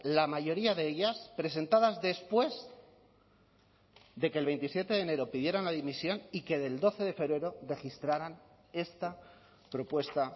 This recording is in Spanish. la mayoría de ellas presentadas después de que el veintisiete de enero pidieran la dimisión y que del doce de febrero registraran esta propuesta